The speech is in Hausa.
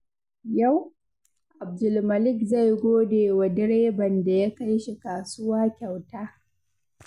Yau, Abdulmalik zai gode wa direban da ya kai shi kasuwa kyauta.